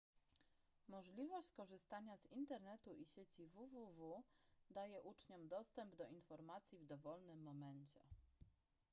możliwość korzystania z internetu i sieci www daje uczniom dostęp do informacji w dowolnym momencie